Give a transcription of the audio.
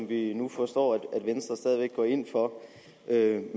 vi nu forstår at venstre stadig væk går ind for med